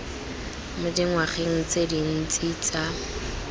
mo dingwageng tse dintsi tsa